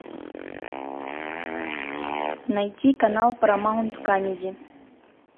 найти канал парамаунт камеди